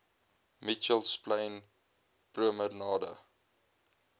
mitchells plain promenade